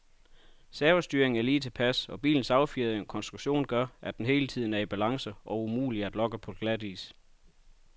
Servostyringen er lige tilpas, og bilens affjedring og konstruktion gør, at den hele tiden er i balance og umulig at lokke på glatis.